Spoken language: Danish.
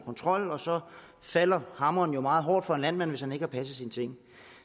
kontrol så falder hammeren jo meget hårdt for en landmand hvis ikke han har passet sine ting